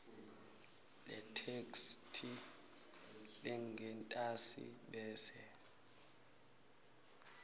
letheksthi lengentasi bese